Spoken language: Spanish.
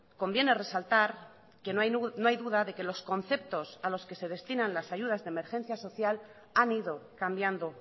conviene resaltar que no hay duda de que los conceptos a los que se destinan las ayudas de emergencia social han ido cambiando